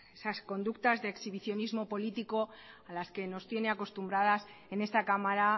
esas conductas de exhibicionismo político a las que nos tiene acostumbradas en esta cámara